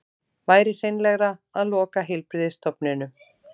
Væri hreinlegra að loka heilbrigðisstofnunum